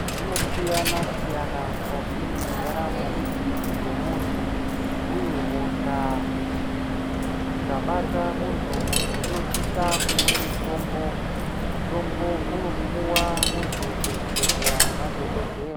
Zvinosiyanasiyana mukati mwendaramo yemuntu uye hosha dzikabata muntu, muntu unosisa kumwe mutombo. Mutombo unopuwa muntu kuzvibhedhleya nemadhokodheya.